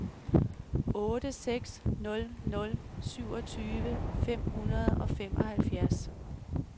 otte seks nul nul syvogtyve fem hundrede og femoghalvfjerds